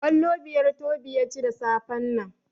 Kwallo biyar Tobi ya ci da safen nan.